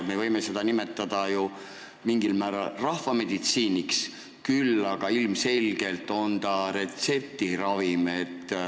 Me võime seda nimetada ju mingil määral rahvameditsiiniks, küll aga on see ilmselgelt retseptiravim.